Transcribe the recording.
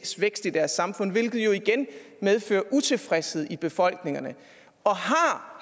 vækst i deres samfund hvilket jo igen medfører utilfredshed i befolkningerne og